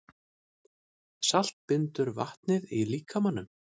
Salt bindur vatnið í líkamanum.